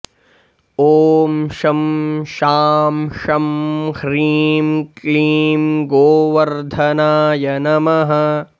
ॐ शं शां षं ह्रीं क्लीं गोवर्धनाय नमः